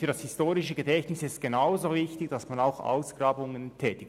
Für das historische Gedächtnis ist es genauso wichtig, dass man Ausgrabungen vornimmt.